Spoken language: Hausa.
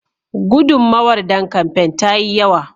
Gudunmawar don kamfain ta yi yawa.